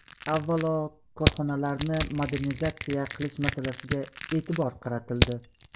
Avvalo, korxonalarni modernizatsiya qilish masalasiga e’tibor qaratildi.